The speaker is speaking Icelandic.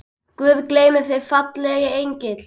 Guð geymi þig, fallegi engill.